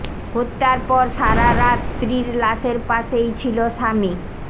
হত্যার পর সারা রাত স্ত্রীর লাশের পাশেই ছিল স্বামী